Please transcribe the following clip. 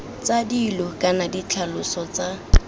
tsa dilo kana ditlhaloso tsa